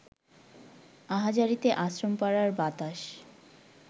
আহাজারিতে আশ্রমপাড়ার বাতাস